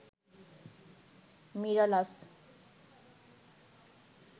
Mirallas